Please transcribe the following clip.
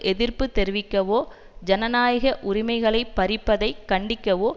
எதிர்ப்பு தெரிவிக்கவோ ஜனநாயக உரிமைகளை பறிப்பதை கண்டிக்கவோ